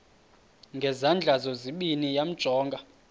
ngezandla zozibini yamjonga